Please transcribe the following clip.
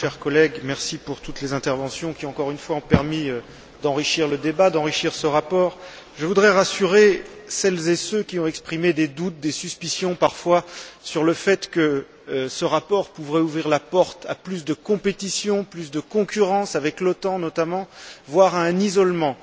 Monsieur le Président, Madame la Haute représentante, chers collègues, merci pour toutes les interventions qui, encore une fois, ont permis d'enrichir le débat, d'enrichir ce rapport. Je voudrais rassurer celles et ceux qui ont exprimé des doutes, des suspicions parfois, sur le fait que ce rapport pouvait ouvrir la porte à plus de compétition, plus de concurrence, avec l'OTAN notamment, voire à un isolement.